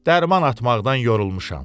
Dərman atmaqdan yorulmuşam.